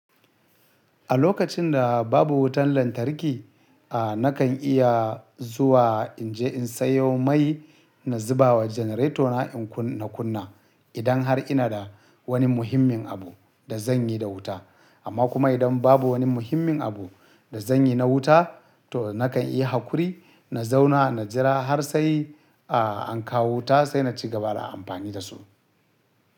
A lokacin da babu wutan lantarki, a nakan iya zuwa in je in sayo mai na zuba wa generator na in kunna idan har ina da wani muhimmin abu da zan yi da wuta. Amma kuma idan babu wani muhimmin abu da zan yi na wuta, to nakan iya hakuri na zauna na jira har sai a kawo wuta sai na ci gaba da amfani da su.